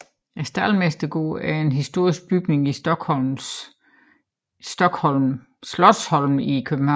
Staldmestergården er en historisk bygning på Slotsholmen i København